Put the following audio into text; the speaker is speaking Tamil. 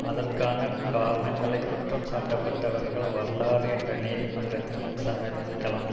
அதற்கான காரணங்களை குற்றம் சாட்டப்பட்டவர்கள் வரலாறு என்ற நீதிமன்றத்தின் முன் சமர்ப்பிக்கலாம்